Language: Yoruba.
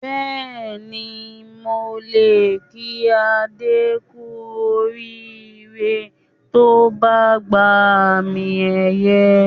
Bẹ́ẹ̀ni, mo lè kí Adé kú oríire tí ó bá gba àmì-ẹ̀yẹ